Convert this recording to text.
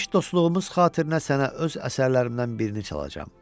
Keçmiş dostluğumuz xatirinə sənə öz əsərlərimdən birini çalacam.